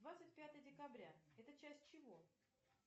двадцать пятое декабря это часть чего